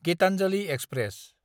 Gitanjali express